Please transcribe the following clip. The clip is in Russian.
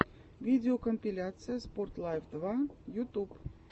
видеокомпиляция спорт лайф два ютюб